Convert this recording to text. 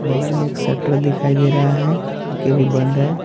बगल में एक शटर दिखाई दे रहा है जोकि अभी बंद है।